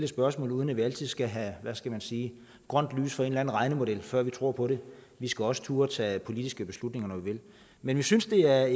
spørgsmål uden at vi altid skal have hvad skal man sige grønt lys fra en eller anden regnemodel før vi tror på det vi skal også turde tage politiske beslutninger når vi vil men vi synes det er